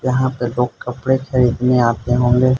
यहां पे लोग कपड़े खरीदने आते होंगे।